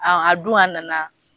A a dun a nana.